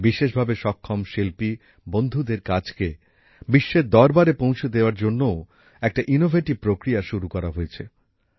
বিশেষভাবে সক্ষম শিল্পী বন্ধুদের কাজকে বিশ্বের দরবারে পৌঁছে দেওয়ার জন্যও একটা উদ্ভাবনী প্রক্রিয়া শুরু করা হয়েছে